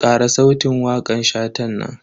Kara sautin wakan Shatan nan.